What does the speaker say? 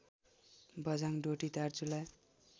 Bajhang Doti Darchula